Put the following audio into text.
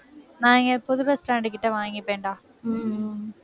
நான் இங்க புது bus stand கிட்ட வாங்கிப்பேன்டா உம்